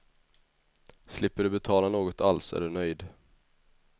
Slipper du betala något alls är du nöjd.